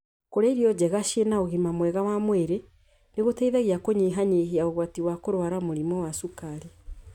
Kũrĩa irio njega ciĩna ũgima mwega wa mwĩrĩ nĩ gũteithagia kũnyihanyihia ũgwati wa kũrũara mũrimũ wa cukari.